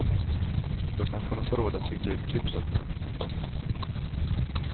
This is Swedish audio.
Då kanske de får råd att byta ut tubsockorna. punkt